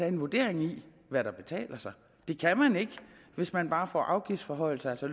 en vurdering af hvad der betaler sig det kan man ikke hvis man bare får afgiftsforhøjelser altså